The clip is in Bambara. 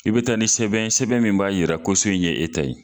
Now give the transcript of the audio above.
I bi taa ni sɛbɛn ye, sɛbɛn min b'a yira ko so in ye ta ye.